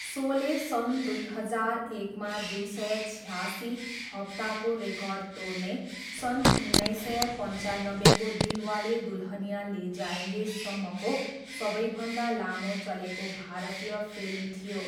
सोले सन् दुई हजार एकमा दुई सय छ्यासी हप्ताको रेकर्ड तोड्ने सन् उन्नाइस सय पन्चानब्बेको दिलवाले दुल्हनिया ले जायेंगे सम्मको सबैभन्दा लामो चलेको भारतीय फिल्म थियो।